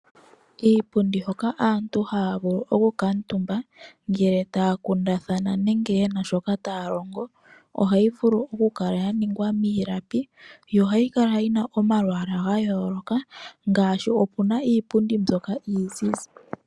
Iipundi hoka aantu haya vulu okukuutumba ngele taya kundathana nenge yena shoka taya longo, ohayi vulu oku kala ya ningwa miilapi, yo ohayi kala yi na omalwaala ga yooloka ngaashi opuna iipundi mbyoka iizizi.